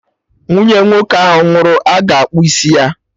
Nwunye nwoke ahụ nwụrụ a ga-akpụ isi ya?